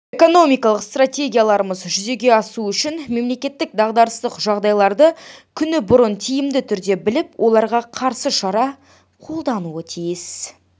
экономикалық стратегияларымыз жүзеге асуы үшін мемлекет дағдарыстық жағдайларды күні бұрын тиімді түрде біліп оларға қарсы шара қолдануы тиіс